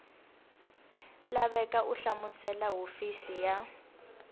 laveka u hlamusela hofisi ya